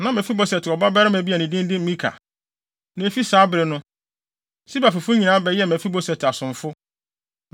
Na Mefiboset wɔ ɔba abarimaa bi a ne din de Mika. Na efi saa bere no, Siba fifo nyinaa bɛyɛɛ Mefiboset asomfo.